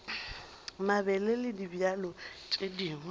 mabele le dibjalo tše dingwe